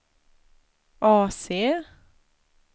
AC